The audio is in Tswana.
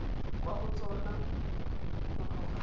kwa go tsona go tloga